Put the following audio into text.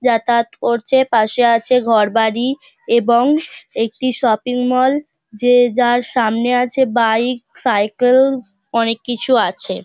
যাতায়াত করছে পাশে আছে ঘর বাড়ি এবং একটি শপিং মল যে যার সামনে আছে বাইক সাইকেল অনেক কিছু আছে ।